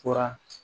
Fura